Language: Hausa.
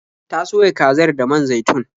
Ta soya kazar da man zaitun.